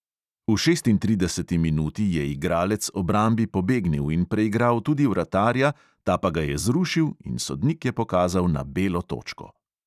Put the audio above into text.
V šestintrideseti minuti je igralec obrambi pobegnil in preigral tudi vratarja, ta pa ga je zrušil in sodnik je pokazal na belo točko.